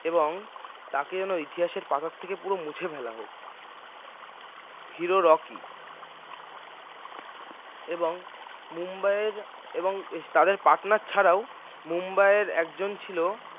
এবং তাঁকে যেন ইতিহাসের পাতা থেকে পুরো মুছে ফেলা হোক hero রকি এবং মুম্বাইয়ের এবং তাদের partner ছাড়াও মুম্বাইয়ের একজন ছিল